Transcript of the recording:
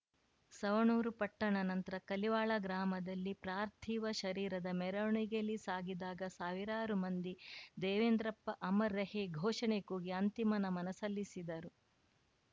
ಸವಣೂರು ಪಟ್ಟಣ ನಂತರ ಕಲಿವಾಳ ಗ್ರಾಮದಲ್ಲಿ ಪ್ರಾರ್ಥಿವ ಶರೀರದ ಮೆರವಣಿಗೆಯಲ್ಲಿ ಸಾಗಿದಾಗ ಸಾವಿರಾರು ಮಂದಿ ದೇವೇಂದ್ರಪ್ಪ ಅಮರ್‌ ರಹೇ ಘೋಷಣೆ ಕೂಗಿ ಅಂತಿಮ ನಮನ ಸಲ್ಲಿಸಿದರು